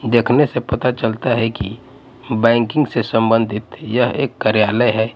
देखने से पता चलता है कि बैंकिंग से संबंधित यह एक कार्यालय है।